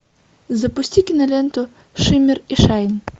запусти киноленту шимер и шайн